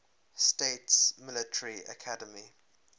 states military academy